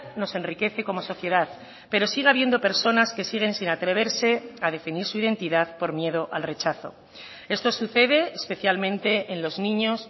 nos enriquece como sociedad pero sigue habiendo personas que siguen sin atreverse a definir su identidad por miedo al rechazo esto sucede especialmente en los niños